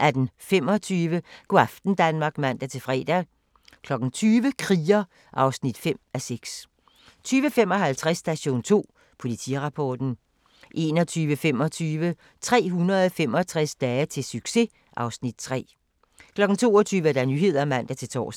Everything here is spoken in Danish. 18:25: Go' aften Danmark (man-fre) 20:00: Kriger (5:6) 20:55: Station 2: Politirapporten 21:25: 365 dage til succes (Afs. 3) 22:00: Nyhederne (man-tor)